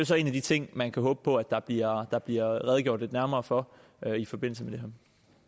så en af de ting man kan håbe på der bliver der bliver redegjort lidt nærmere for i forbindelse